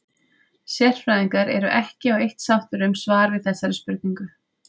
Sérfræðingar eru ekki á eitt sáttir um svar við þessari spurningu.